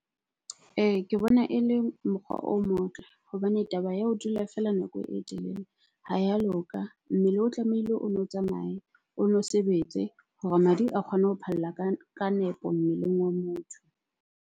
Ee, ke bona e le mokgwa o motle hobane taba ya ho dula feela nako e telele ha ya loka. Mmele o tlamehile o nno tsamaye, o no sebetse hore madi a kgone ho phalla ka nepo mmeleng wa motho.